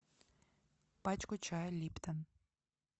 пачку чая липтон